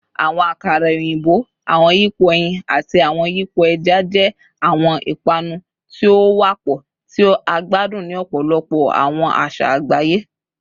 Awọn akara oyinbo, awọn yipo ẹyin, ati awọn yipo ẹja jẹ awọn ipanu ti o wapọ ti a gbadun ni ọpọlọpọ awọn aṣa agbaye